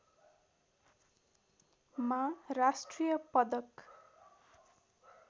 मा राष्ट्रिय पदक